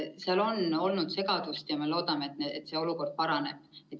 Seal on olnud segadust ja me loodame, et see olukord paraneb.